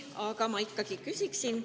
Aga ma ikkagi küsin.